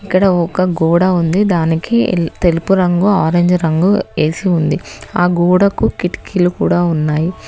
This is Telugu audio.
ఇక్కడ ఒక గోడ ఉంది దానికి తెలుపు రంగు ఆరెంజ్ రంగు ఏసి ఉంది ఆ గోడకు కిటికీలు కూడా ఉన్నాయి.